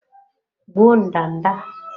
Gbuo ndanda a!